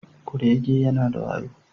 Kurege yana da wayo